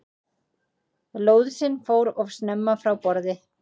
Lóðsinn fór of snemma frá borði